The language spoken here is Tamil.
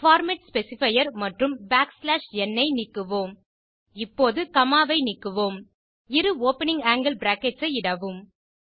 பார்மேட் ஸ்பெசிஃபையர் மற்றும் n ஐ நீக்குவோம் இப்போது காமா ஐ நீக்குவோம் இரு ஓப்பனிங் ஆங்கில் பிராக்கெட்ஸ் ஐ இடவும்